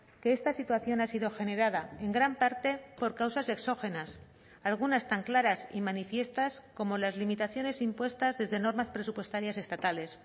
que esta situación ha sido generada en gran parte por causas exógenas algunas tan claras y manifiestas como las limitaciones impuestas desde normas presupuestarias estatales